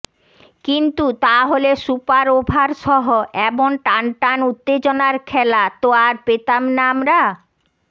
কিন্তু তা হলে সুপার ওভারসহ এমন টানটান উত্তেজনার খেলা তো আর পেতাম না আমরা